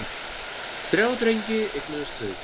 Þrjá drengi eignuðust þau.